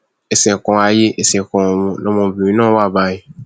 ẹṣẹ kan ayé ẹsẹ kan ọrun lọmọbìnrin náà wà báyìí